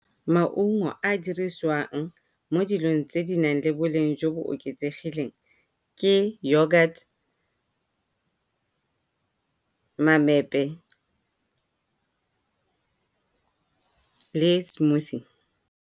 Maungo a dirisiwang mo dilong tse di nang le boleng jo bo oketsegileng ke yogurt, mamepe, le smoothie.